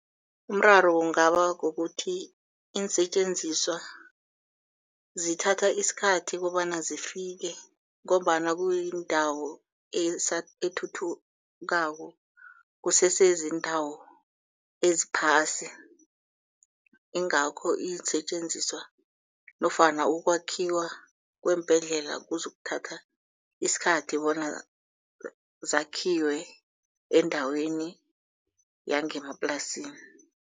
Umraro kungaba kukuthi iinsetjenziswa zithatha isikhathi kobana zifike ngombana kuyindawo ethuthukako kusese ziindawo eziphasi. Ingakho iinsetjenziswa nofana ukwakhiwa kweembhedlela kuzokuthatha isikhathi bona zakhiwe endaweni yangemaplasini.